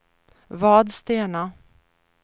Vadstena